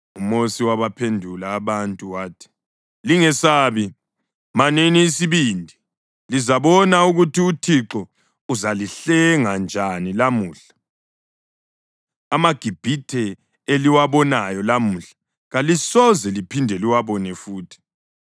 UMosi wabaphendula abantu wathi, “Lingesabi. Manini isibindi, lizabona ukuthi uThixo uzalihlenga njani lamuhla. AmaGibhithe eliwabonayo lamuhla kalisoze liphinde liwabone futhi.